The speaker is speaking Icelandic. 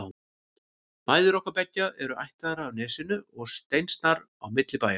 Mæður okkar beggja eru ættaðar af Nesinu og steinsnar á milli bæja.